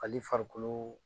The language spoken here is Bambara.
Fali farikolo